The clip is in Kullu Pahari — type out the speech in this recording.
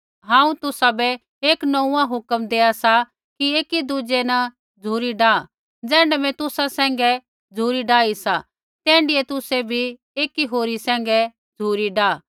हांऊँ तुसाबै एक नोंऊँआं हुक्म देआ सा कि एकी दुज़ै न झ़ुरी डाआ ज़ैण्ढी मैं तुसा सैंघै झ़ुरी डाई सा तैण्ढीऐ तुसै भी एकी होरी सैंघै झ़ुरी डाआ